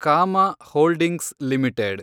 Kama Holdings limited